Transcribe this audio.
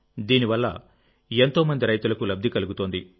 దీని వల్ల ఎంతో మంది రైతులకులబ్ది కలుగుతోంది